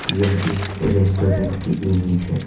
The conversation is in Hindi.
यह एक रेस्टोरेंट की इमेज है।